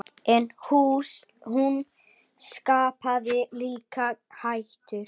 En hún skapaði líka hættur.